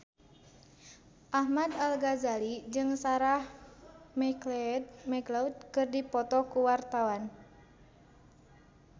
Ahmad Al-Ghazali jeung Sarah McLeod keur dipoto ku wartawan